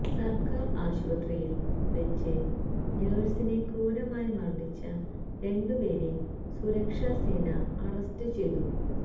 സര്ക്കാര് ആശുപത്രിയില് വെച്ച് നഴ്സിനെ ക്രൂരമായി മര്ദ്ദിച്ച രണ്ടുപേരെ സുരക്ഷാ സേന അറസ്റ്റ് ചെയ്തു